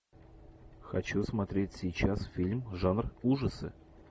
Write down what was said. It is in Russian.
хочу смотреть сейчас фильм жанр ужасы